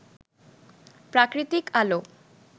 প্রাকৃতিক আলো